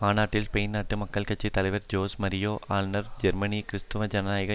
மாநாட்டில் ஸ்பெயின் நாட்டு மக்கள் கட்சி தலைவர் ஜோஸ் மரியா அஸ்நார் ஜெர்மனி கிறிஸ்தவ ஜனநாயக